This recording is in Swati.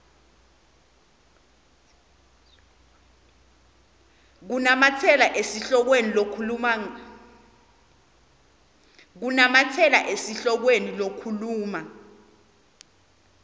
kunamatsela esihlokweni lokhuluma